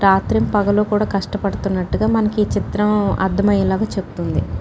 రాత్రిమ్ పగలు కూడా కష్టపాడుతున్నటుగా మనకి చిత్రం అర్థం అయ్యేలాగా చెప్తుంది.